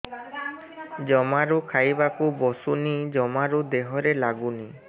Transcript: ଜମାରୁ ଖାଇବାକୁ ବସୁନି ଜମାରୁ ଦେହରେ ଲାଗୁନି